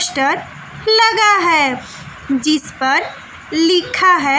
Poster लगा है जिस पर लिखा है।